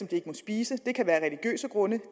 de ikke må spise det kan være af religiøse grunde